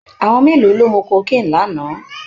Àwọn mélòó ló mu cocaine lánàá?